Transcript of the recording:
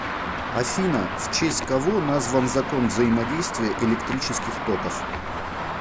афина в честь кого назван закон взаимодействия электрических токов